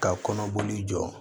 Ka kɔnɔboli jɔ